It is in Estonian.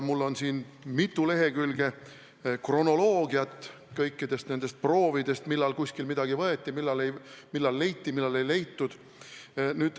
Mul on siin mitu lehekülge kronoloogiat kõikidest nendest proovidest: millal kuskil midagi võeti, millal leiti, millal ei leitud.